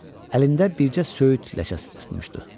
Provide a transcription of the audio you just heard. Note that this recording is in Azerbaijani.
Əlində bircə söyüd ləçəsi tutmuşdu.